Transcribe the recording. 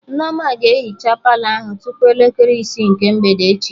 Nneoma ga-ehicha Palọ ahụ tupu elekere isi nke mgbede echi